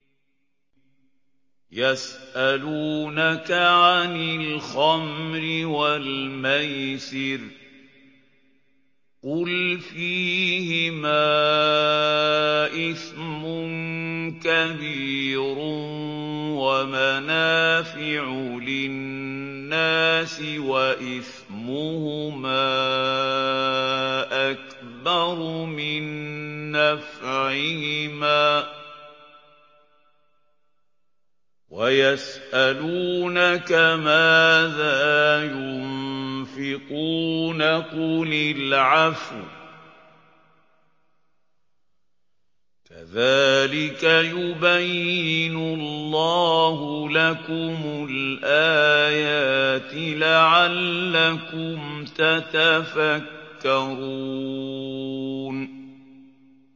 ۞ يَسْأَلُونَكَ عَنِ الْخَمْرِ وَالْمَيْسِرِ ۖ قُلْ فِيهِمَا إِثْمٌ كَبِيرٌ وَمَنَافِعُ لِلنَّاسِ وَإِثْمُهُمَا أَكْبَرُ مِن نَّفْعِهِمَا ۗ وَيَسْأَلُونَكَ مَاذَا يُنفِقُونَ قُلِ الْعَفْوَ ۗ كَذَٰلِكَ يُبَيِّنُ اللَّهُ لَكُمُ الْآيَاتِ لَعَلَّكُمْ تَتَفَكَّرُونَ